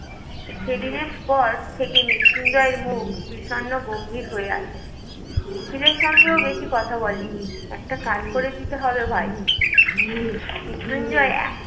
সেদিনের পর থেকে মৃত্যুঞ্জয়ের মুখ বিষণ্ণ গম্ভীর হয়ে আছে নিখিলের সঙ্গেও বেশি কথা বলেনি একটা কাজ করে দিতে হবে ভাই মৃত্যুঞ্জয় এক